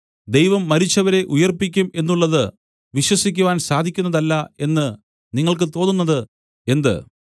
ദൈവം മരിച്ചവരെ ഉയിർപ്പിക്കും എന്നുള്ളത് വിശ്വസിക്കാൻ സാധിക്കുന്നതല്ല എന്ന് നിങ്ങൾക്ക് തോന്നുന്നത് എന്ത്